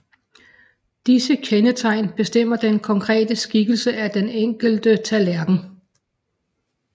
Disse kendetegn bestemmer den konkrete skikkelse af den enkelte tallerken